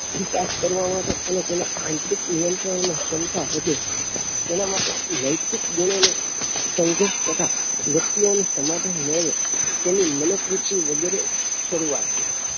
વિકાસ કરવા માટે અને તેના આંતરિક નિયંત્રણ નો ક્ષમતા વધે એના માટે નૈતિક ગુણો નો સંઘર્ષ તથા વ્યક્તિઓ નો સમાધાન મેળવે તેના મનોકૃતિ વગેરે શરૂવાત છે